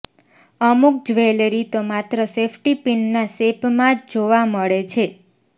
અમુક જ્વેલરી તો માત્ર સેફ્ટી પિનના શેપમાં જ જોવા મળે છે